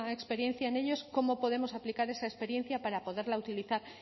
experiencia en ellos cómo podemos aplicar esa experiencia para poderla utilizar